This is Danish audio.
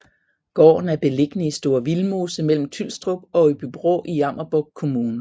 Gården er beliggende i Store Vildmose mellem Tylstrup og Åbybro i Jammerbugt Kommune